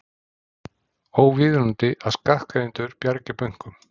Óviðunandi að skattgreiðendur bjargi bönkum